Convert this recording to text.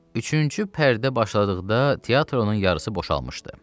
Üçüncü pərdə başladıqda teatrın yarısı boşalmışdı.